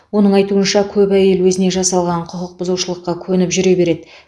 оның айтуынша көп әйел өзіне жасалған құқық бұзушылыққа көніп жүре береді